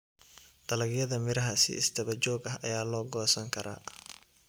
Dalagyada miraha si isdaba joog ah ayaa loo goosan karaa.